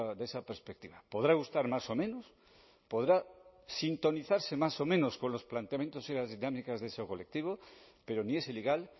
de esa perspectiva podrá gustar más o menos podrá sintonizarse más o menos con los planteamientos y las dinámicas de ese colectivo pero ni es ilegal